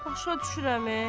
Başa düşürəm e.